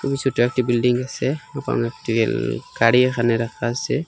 ছোট একটি বিল্ডিং আসে ওখানে একটি এল গাড়ি এখানে রাখা আসে।